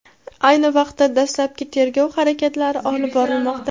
ayni vaqtda dastlabki tergov harakatlari olib borilmoqda.